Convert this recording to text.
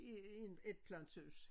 I en etplanshus